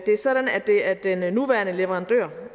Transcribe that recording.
det er sådan at det er den nuværende leverandør